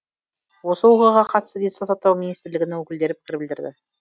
осы оқиғаға қатысты денсаулық сақтау министрлігінің өкілдері пікір білдірді